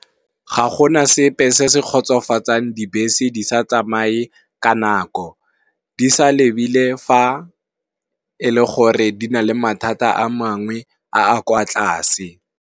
Ga gona sepe se se kgotsofatsang, dibese di sa tsamaye ka nako di sa lebile fa e le gore di na le mathata a mangwe a a kwa tlase.